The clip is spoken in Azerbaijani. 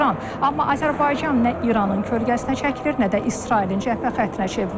Amma Azərbaycan nə İranın kölgəsinə çəkilir, nə də İsrailin cəbhə xəttinə çevrilir.